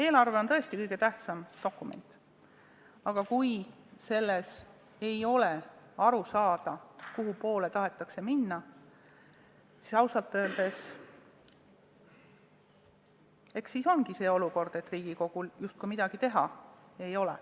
Eelarve on tõesti kõige tähtsam dokument, aga kui sellest ei ole aru saada, kuhu poole tahetakse minna, siis ausalt öeldes ongi selline olukord, kus Riigikogul justkui midagi teha ei ole.